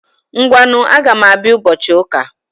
Ngwanu, Agam Abia ubochi uka